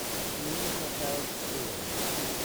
мне не хватает сыра